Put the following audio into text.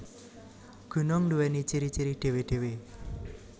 Gunung nduwèni ciri ciri dhéwé dhéwé